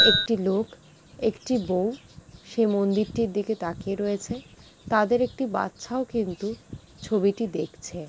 একটি লোক একটি বউ সেই মন্দিরটির দিকে তাকিয়ে রয়েছে তাদের একটি বাচ্চাও কিন্তু ছবিটি দেখছে ।